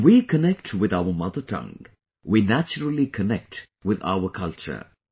When we connect with our mother tongue, we naturally connect with our culture